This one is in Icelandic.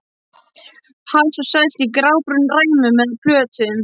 Hass er selt í grábrúnum ræmum eða plötum.